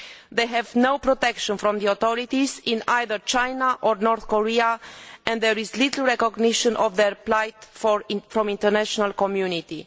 They have no protection from the authorities in either China or North Korea, and there is little recognition of their plight from the international community.